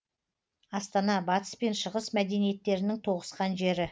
астана батыс пен шығыс мәдениеттерінің тоғысқан жері